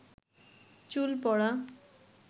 চুল পড়া